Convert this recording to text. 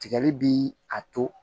Tigɛli bi a to